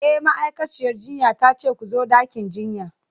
E, ma'aikaciyar jinya ta ce ku zo ɗakin jinyan.